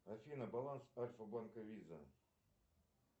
афина баланс альфа банка виза